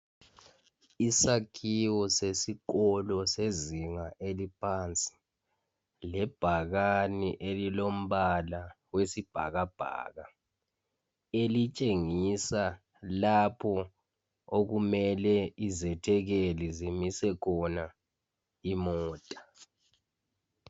Isakhiwo sesikolo sezinga eliphansi lebhakane elilo mbala wesibhakabhaka .Elitshengisa lapho okumele izethekeli zimise khona imota. .